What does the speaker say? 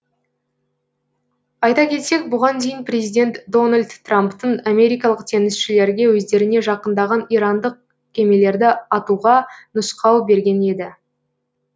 айта кетсек бұған дейін президент дональд трамптың америкалық теңізшілерге өздеріне жақындаған ирандық кемелерді атуға нұсқау берген еді